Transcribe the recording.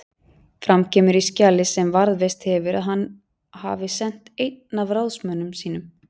Fram kemur í skjali sem varðveist hefur að hann hafi sent einn af ráðsmönnum sínum